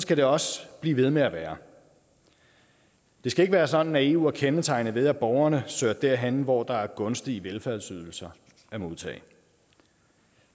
skal det også blive ved med at være det skal ikke være sådan at eu er kendetegnet ved at borgerne søger derhen hvor der er gunstige velfærdsydelser at modtage